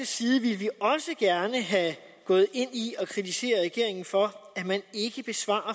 side ville vi også gerne have gået ind i at kritisere regeringen for at man ikke svarer